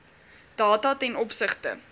data ten opsigte